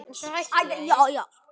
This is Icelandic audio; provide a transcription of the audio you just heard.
En svo hætti ég því.